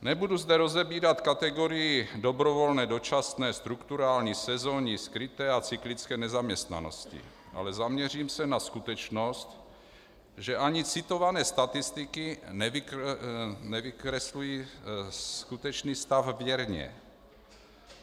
Nebudu zde rozebírat kategorii dobrovolné, dočasné, strukturální, sezónní, skryté a cyklické nezaměstnanosti, ale zaměřím se na skutečnost, že ani citované statistiky nevykreslují skutečný stav věrně.